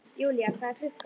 Julia, hvað er klukkan?